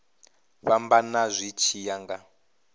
fhambana zwi tshi ya nga